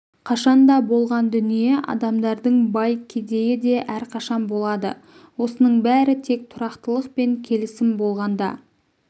қашанда болған дүние адамдардың бай-кедейі де әрқашан болады осының бәрі тек тұрақтылық пен келісім болғанда